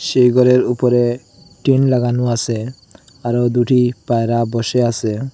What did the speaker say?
সেই ঘরের উপরে টিন লাগানো আসে আরও দুটি পায়রা বসে আসে।